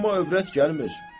Amma övrət gəlmir.